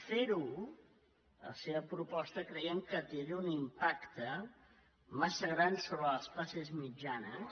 fer ho la seva proposta creiem que tindria un impacte massa gran sobre les classes mitjanes